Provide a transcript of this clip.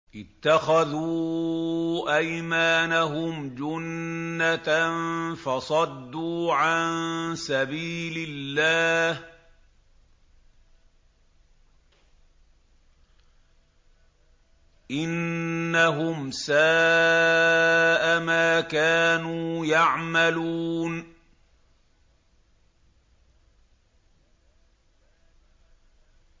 اتَّخَذُوا أَيْمَانَهُمْ جُنَّةً فَصَدُّوا عَن سَبِيلِ اللَّهِ ۚ إِنَّهُمْ سَاءَ مَا كَانُوا يَعْمَلُونَ